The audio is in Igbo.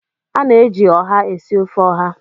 A na-eji ọha esi ofe ọha.